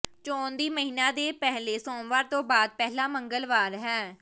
ਚੋਣ ਦਿਨ ਮਹੀਨਾ ਦੇ ਪਹਿਲੇ ਸੋਮਵਾਰ ਤੋਂ ਬਾਅਦ ਪਹਿਲਾ ਮੰਗਲਵਾਰ ਹੈ